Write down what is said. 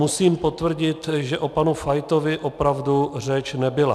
Musím potvrdit, že o panu Fajtovi opravdu řeč nebyla.